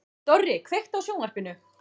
Dorri, kveiktu á sjónvarpinu.